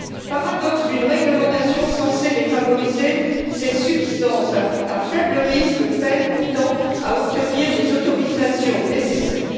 Paradoxe d'une réglementation censée les favoriser, ces substances à faible risque peinent pourtant à obtenir les autorisations nécessaires.